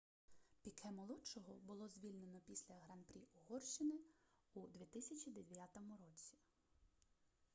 піке-молодшого було звільнено після гран-прі угорщини у 2009 році